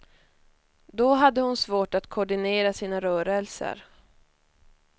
Då hade hon svårt att koordinera sina rörelser.